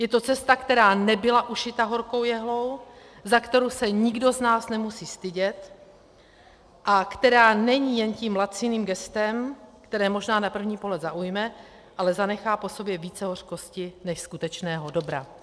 Je to cesta, která nebyla ušita horkou jehlou, za kterou se nikdo z nás nemusí stydět a která není jen tím laciným gestem, které možná na první pohled zaujme, ale zanechá po sobě více hořkosti než skutečného dobra.